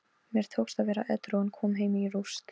Mér tókst að vera edrú en kom heim í rúst.